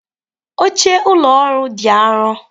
Oche ụlọ ọrụ dị arọ.